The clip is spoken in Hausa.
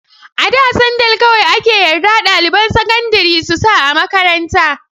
A da sandal kawai ake yarda ɗaliban sakandari su sa a makaranta.